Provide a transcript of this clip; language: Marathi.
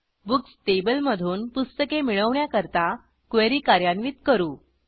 बुक्स टेबल मधून पुस्तके मिळवण्याकरता क्वेरी कार्यान्वित करू